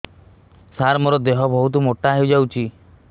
ସାର ମୋର ଦେହ ବହୁତ ମୋଟା ହୋଇଯାଉଛି